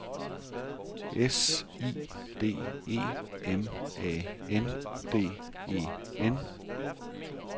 S I D E M A N D E N